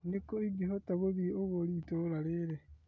Nĩkũ ingĩhota gũthiĩ ũgũri itũra rĩrĩ ?